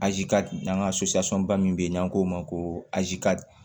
n'an ka ba min bɛ yen n'an k'o ma ko